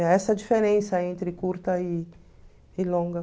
É essa a diferença entre curta e e longa.